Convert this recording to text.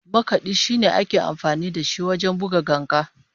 Makadi shine ake amfani da shi wajen buga ganga